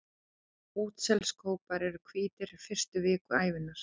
Útselskópar eru hvítir fyrstu vikur ævinnar.